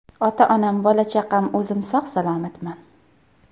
Ota-onam, bola-chaqam, o‘zim sog‘-salomatman.